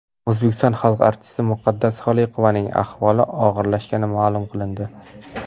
O‘zbekiston xalq artisti Muqaddas Xoliqovaning ahvoli og‘irlashgani ma’lum qilindi.